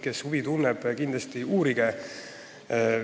Kes huvi tunneb, kindlasti uurigu!